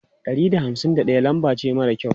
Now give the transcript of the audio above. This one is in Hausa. Ɗari da hamsin da ɗaya lambar ce mara kyau.